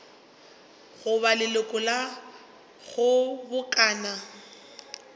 go ba leloko la kgobokano